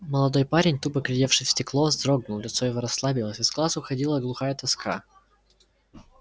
молодой парень тупо глядевший в стекло вздрогнул лицо его расслабилось из глаз уходила глухая тоска